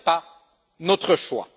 Ce n'est pas notre choix.